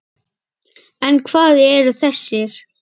En hvað eru þessir?